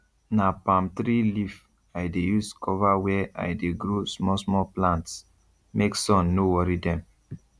na palm tree leaf i dey use cover where i dey grow small small plants make sun no worry them